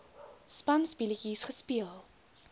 spanspe letjies gespeel